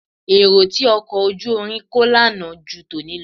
Èrò tí ọkọ̀ ojú irin kó lánàá pọ̀ ju tòní lọ